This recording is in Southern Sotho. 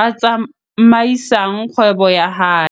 a tsamaisang kgwebo ya hae.